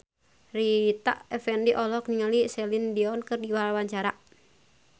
Rita Effendy olohok ningali Celine Dion keur diwawancara